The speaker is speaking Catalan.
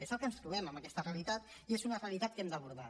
és el que ens trobem en aquesta realitat i és una realitat que hem d’abordar